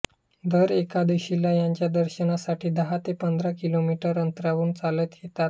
दर एकादशीला यांच्या दर्शनासाठी दहा ते पंधरा किलोमीटर अंतरावरून चालत येतात